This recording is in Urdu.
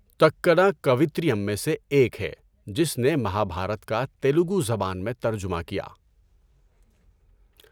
تکّنا، کویتریم میں سے ایک ہے جس نے مہابھارت کا تیلگو زبان میں ترجمہ کیا۔